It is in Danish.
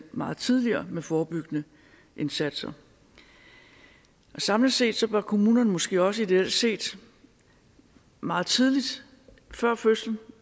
meget tidligere med forebyggende indsatser samlet set bør kommunerne måske også ideelt set meget tidligt før fødslen og